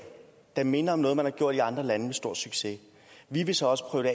der minder om noget man har gjort i andre lande med stor succes vi vil så også prøve